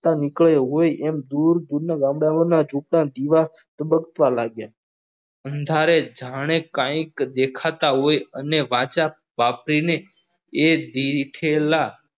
ચાલો નીકળ્યો હોય એમ ધૂળના તબકવા લાગ્યા અંધારે જાણે કઈ દેખાતા હોય અને વાંચા આપીને એ દીધેલા